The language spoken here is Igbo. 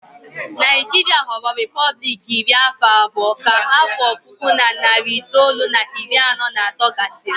Naijiria ghọrọ repọblik iri afọ abụọ ka afọ puku na narị itoolu na iri anọ na atọ gasịrị